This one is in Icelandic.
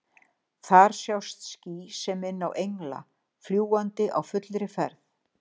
Þar sjást ský sem minna á engla, fljúgandi á fullri ferð.